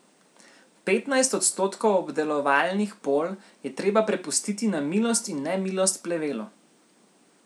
Petnajst odstotkov obdelovalnih polj je treba prepustiti na milost in nemilost plevelu.